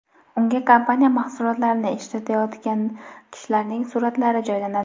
Unga kompaniya mahsulotlarini ishlatayotgan kishilarning suratlari joylanadi.